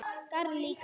Garð líka.